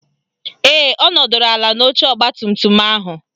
Ee, ọ nọdụrụ ala n'oche ọgbatumtum ahụ